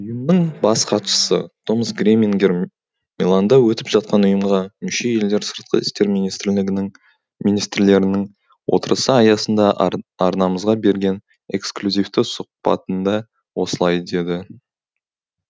ұйымның бас хатшысы томас гремингер миланда өтіп жатқан ұйымға мүше елдер сыртқы істер министрлерінің отырысы аясында арнамызға берген эксклюзивті сұқбатында осылай деді